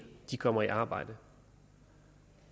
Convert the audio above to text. kommer i arbejde